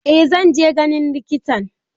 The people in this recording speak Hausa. Eh zan je ganin likitan.